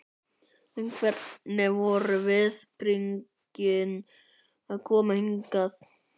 En hvernig voru viðbrigðin að koma hingað?